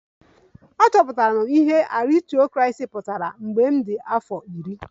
Achọpụtara m ihe aristocracy pụtara mgbe ọ dị afọ iri